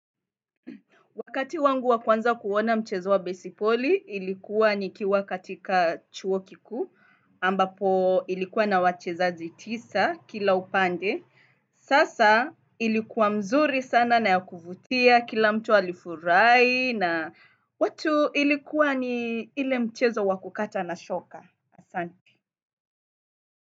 Wakati wangu wakwanza kuona mchezo wa besipoli, ilikuwa ni kiwa katika chuo kikuu, ambapo ilikuwa na wachezaji tisa kila upande. Sasa ilikuwa mzuri sana na ya kuvutia kila mtu alifurahi na watu ilikuwa ni ile mchezo wa kukata na shoka.